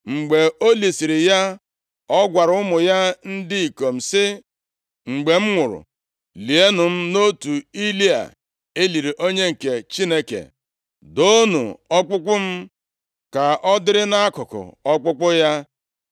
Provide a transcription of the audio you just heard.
Mgbe o lisiri ya, ọ gwara ụmụ ya ndị ikom sị, “Mgbe m nwụrụ, lienụ m nʼotu ili a e liri onye nke Chineke; doonụ ọkpụkpụ m ka ọ dịrị nʼakụkụ ọkpụkpụ ya.